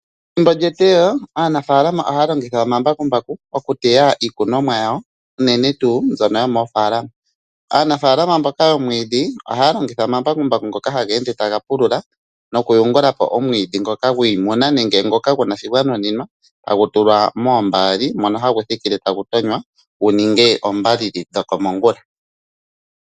Pethimbo lyeteyo aanafaalama ohaya longitha omambakumbaku okuteya iikonomwa yawo unene tuu mbyono yomoofaalama. Aanafalaama mbono ohaya longitha omambakumbaku ngka haga ende taga pulula nokuyungula po omwiidhi ngoka gwiimuna nenge gu na shoka gwa nuninwa hagu tulwa moombaali mono hagu thikile tagu tonywa gu ninge oondjumbo dhokomongulala.